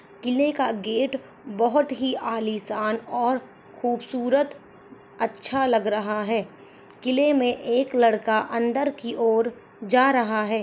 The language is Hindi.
किला का गेट बहुत ही आलीशान और खूबसूरत अच्छा लग रहा है किले मे एक लड़का अंदर की और जा रहा है।